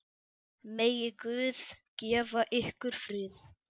Megi Guð gefa ykkur frið.